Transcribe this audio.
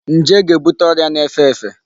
Njé ga-ebute ọrịa na-efe efe.